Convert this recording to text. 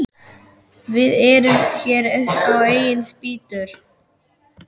Við erum hér upp á eigin spýtur.